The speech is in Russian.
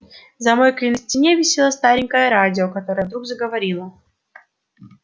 за мойкой на стене висело старенькое радио которое вдруг заговорило